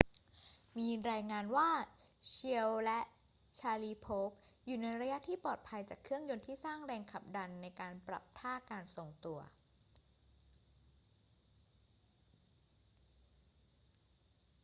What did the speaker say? มีรายงานว่า chiao และ sharipov อยู่ในระยะที่ปลอดภัยจากเครื่องยนต์ที่สร้างแรงขับดันในการปรับท่าการทรงตัว